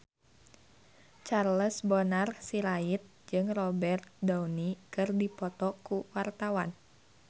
Charles Bonar Sirait jeung Robert Downey keur dipoto ku wartawan